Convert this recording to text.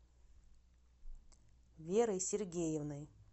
верой сергеевной